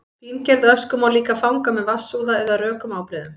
fíngerða ösku má líka fanga með vatnsúða eða rökum ábreiðum